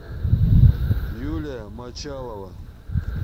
юлия мочалова